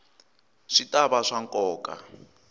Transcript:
swi ta va swa nkoka